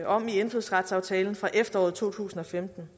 om i indfødsretsaftalen fra efteråret to tusind og femten